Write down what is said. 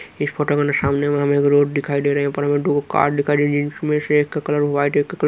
इस फोटो में सामने हमें एक रोड दिखाई दे रहे हैं। दो कार दिखाई दे रही है। उनमें से एक का कलर व्हाइट एक का कलर --